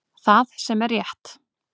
Það sem er rétt